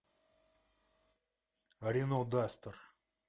рено дастер